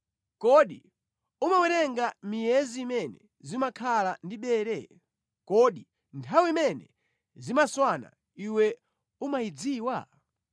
Kodi umawerenga miyezi imene zimakhala ndi bere? Kodi nthawi imene zimaswana iwe umayidziwa?